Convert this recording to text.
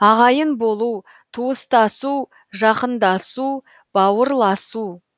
ағайын болу туыстасу жақындасу бауырласу